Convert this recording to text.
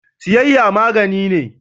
Siyayya magani ne.